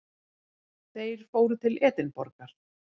Þeir fóru til Edinborgar.